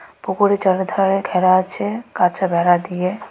ওপরে চারিধারে ঘেরা আছে কাঁচা বেড়া দিয়ে .]